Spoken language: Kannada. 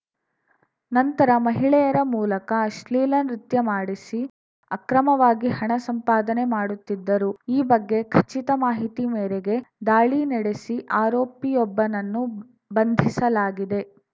ನಂತರ ಮಹಿಳೆಯರ ಮೂಲಕ ಅಶ್ಲೀಲ ನೃತ್ಯ ಮಾಡಿಸಿ ಅಕ್ರಮವಾಗಿ ಹಣ ಸಂಪಾದನೆ ಮಾಡುತ್ತಿದ್ದರು ಈ ಬಗ್ಗೆ ಖಚಿತ ಮಾಹಿತಿ ಮೇರೆಗೆ ದಾಳಿ ನಡೆಸಿ ಆರೋಪಿಯೊಬ್ಬನನ್ನು ಬಂಧಿಸಲಾಗಿದೆ